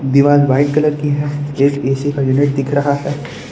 दीवार white colour की है ए_स ए_सी का यूनिट दिख रहा है।